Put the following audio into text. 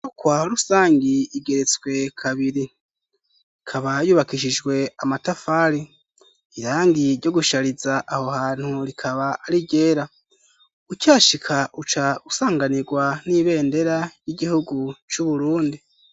Inyubakwa rusangi igeretswe kabiri. Ikaba yubakishijwe amatafari, irangi ryo gushariza aho hantu rikaba ari iryera. Ukihashika uca usanganirwa n'ibendera y'igihugu c'uburundi.